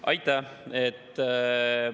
Aitäh!